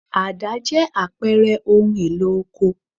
Àdá jẹ́ àpẹẹrẹ ohun-èlò oko.